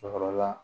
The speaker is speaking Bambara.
Cɛkɔrɔba